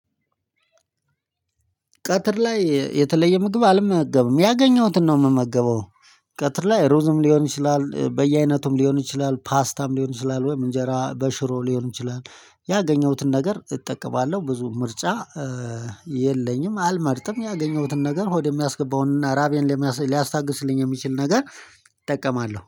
ቀትር ላይ የተለየ ምግብ አልመገብም ያገኘሁትን ነው የምመገበው። ቀትር ላይ ሩዝም ሊሆን ይችላል በየአይነቱም ሊሆን ይችላል ፓስታም ሊሆን ይችላል ወይም እንጀራ በሽሮ ሊሆን ይችላል። ያገኘሁትን ነገር እጠቀማለሁ ብዙ ምርጫ የለኝም። አልመርጥም ያገኘሁትን ነገር ሆድ የሚያስገባውንና ራቤን ሊያስታግስልኝ የሚችል ነገር እጠቀማለሁ።